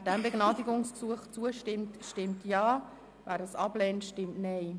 Wer diesem Begnadigungsgesuch zustimmt, stimmt Ja, wer es ablehnt, stimmt Nein.